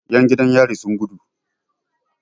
Yan jidan yari sun gudu.